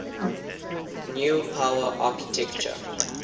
new power architecture